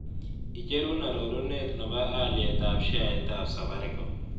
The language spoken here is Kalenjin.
Icherun arorunet ne po Alyetap sheaitap safaricom